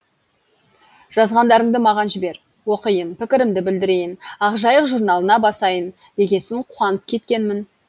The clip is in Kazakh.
жазғандарыңды маған жібер оқиын пікірімді білдірейін ақжайық журналына басайын дегесін қуанып кеткенмін